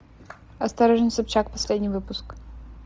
осторожно собчак последний выпуск